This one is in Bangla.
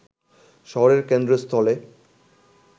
শহরের কেন্দ্রস্থলে